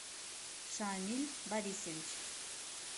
шамиль борисович